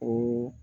O